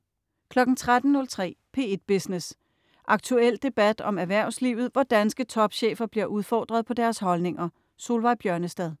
13.03 P1 Business. Aktuel debat om erhvervslivet, hvor danske topchefer bliver udfordret på deres holdninger. Solveig Bjørnestad